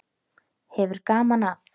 Hefur gaman af.